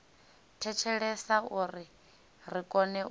thetshelesa uri ri kone u